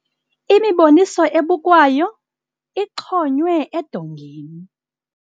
Imiboniso ebukwayo ixhonywe edongeni.